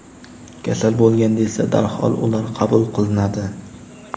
Kasal bo‘lganda esa darhol ular qabul qilinadi.